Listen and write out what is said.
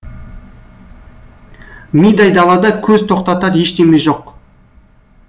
мидай далада көз тоқтатар ештеме жоқ